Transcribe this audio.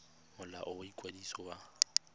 go molao wa ikwadiso wa